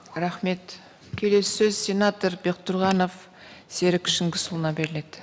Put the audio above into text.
рахмет келесі сөз сенатор бектұрғанов серік шыңғысұлына беріледі